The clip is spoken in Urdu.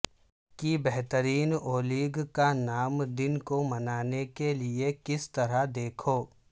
کی بہترین اولیگ کا نام دن کو منانے کے لئے کس طرح دیکھو